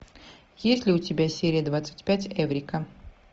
есть ли у тебя серия двадцать пять эврика